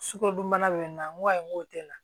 Sukarodunbana be yen nɔ n ko ayiwa n ko tɛ na